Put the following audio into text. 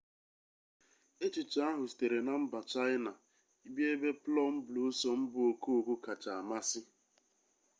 echiche ahụ sitere na mba chaịna bịa ebe plum blossom bụ okooko kacha amasị